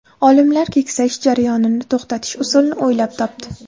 Olimlar keksayish jarayonini to‘xtatish usulini o‘ylab topdi.